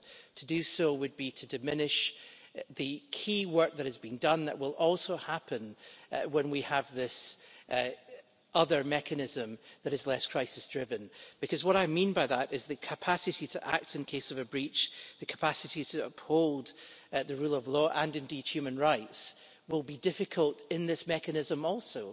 7. To do so would be to diminish the key work that has been done and that will also happen when we have this other mechanism that is less crisis driven, because what I mean by that is the capacity to act in case of a breach, the capacity to uphold the rule of law, and indeed human rights, will be difficult in this mechanism also.